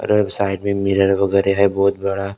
और साइड में मिरर है वगैरा बहुत बड़ा और--